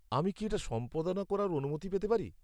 আমি কি এটা সম্পাদনা করার অনুমতি পেতে পারি?